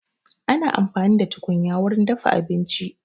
Ana amfani da tukunya wurin dafa abinci